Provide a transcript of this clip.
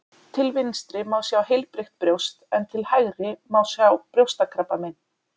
Til vinstri má sjá heilbrigt brjóst en til hægri má sjá brjóstakrabbamein.